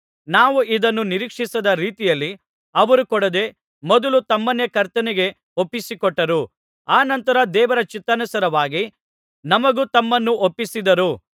ನಾವು ಇದನ್ನು ನಿರೀಕ್ಷಿಸದ ರೀತಿಯಲ್ಲಿ ಅವರು ಕೊಡದೆ ಮೊದಲು ತಮ್ಮನ್ನೇ ಕರ್ತನಿಗೆ ಒಪ್ಪಿಸಿಕೊಟ್ಟರು ಅನಂತರ ದೇವರ ಚಿತ್ತಾನುಸಾರವಾಗಿ ನಮಗೂ ತಮ್ಮನ್ನು ಒಪ್ಪಿಸಿದರು